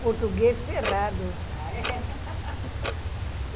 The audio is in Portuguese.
Português ferrado. Ah é?